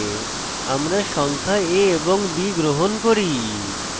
আমরা সংখ্যা a এবং b গ্রহণ করি